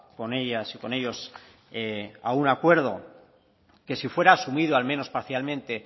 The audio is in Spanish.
con ellas y con ellos a un acuerdo que si fuera asumido al menos parcialmente